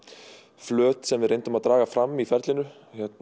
flöt sem við reyndum að draga fram í ferlinu